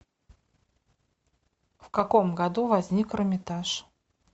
в каком году возник эрмитаж